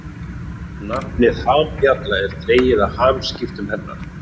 Nafnið hambjalla er dregið af hamskiptum hennar.